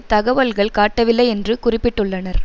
தகவல்கள் காட்டவில்லை என்று குறிப்பிட்டுள்ளனர்